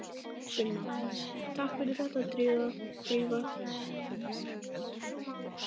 Sunna: Takk fyrir þetta Drífa.